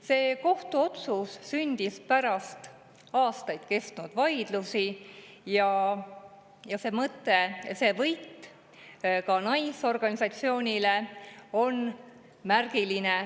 See kohtuotsus sündis pärast aastaid kestnud vaidlusi ja see võit ka naisorganisatsioonile on märgiline.